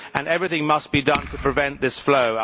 Everything must be done to prevent this flow.